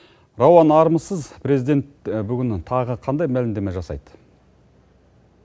рауан армысыз президент бүгін тағы қандай мәлімдеме жасайды